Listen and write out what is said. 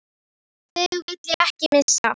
Þig vil ég ekki missa.